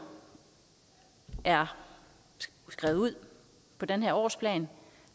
er skrevet ud på den her årsplan